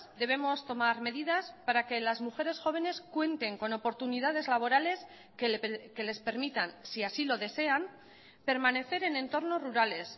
debemos tomar medidas para que las mujeres jóvenes cuenten con oportunidades laborales que les permitan si así lo desean permanecer en entornos rurales